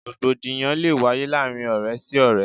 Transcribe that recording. Rògbòdìyàn lé wáyé láàárín ọ̀rẹ́ sí ọ̀rẹ́.